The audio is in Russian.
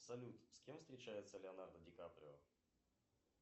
салют с кем встречается леонардо ди каприо